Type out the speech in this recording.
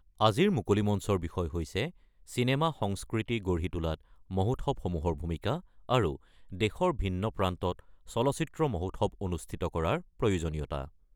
আজিৰ মুকলি মঞ্চৰ বিষয় হৈছে চিনেমা সংস্কৃতি গঢ়ি তোলাত মহোৎসৱসমূহৰ ভূমিকা আৰু দেশৰ ভিন্ন প্ৰান্তত চলচ্চিত্ৰ মহোৎসৱ অনুষ্ঠিত কৰাৰ প্ৰয়োজনীয়তা।